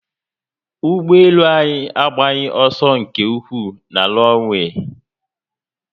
Ugboelu anyi agbaghi oso nke ukwuu na ronwee